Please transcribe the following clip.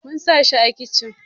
Mun sa shi a kicin